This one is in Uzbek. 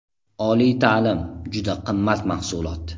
Oliy ta’lim juda qimmat mahsulot.